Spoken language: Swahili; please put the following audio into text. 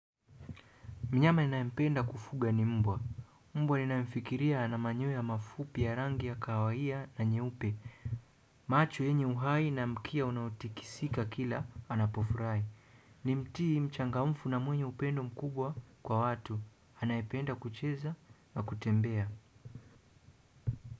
Mnyama ninayependa kufuga ni mbwa. Mbwa ninaifikiria ana manyoya mafupi ya rangi ya kawaida na nyeupe. Macho yenye uhai na mkia unautikisika kila anapofurahi. Ni mtii, mchangamfu na mwenye upendo mkubwa kwa watu. Anayependa kucheza na kutembea.